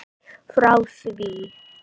Frá því